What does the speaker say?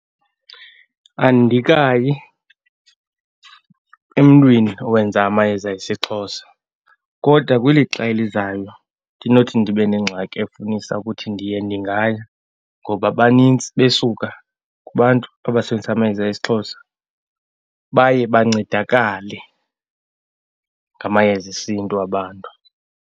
Andikayi emntwini owenza amayeza esiXhosa, kodwa kwilixa elizayo ndinothi ndibe nengxaki efunisa ukuthi ndiye, ndingaya. Ngoba banintsi besuka kubantu abasebenzisi amayeza esiXhosa, baye bancedakale ngamayeza esiNtu abantu.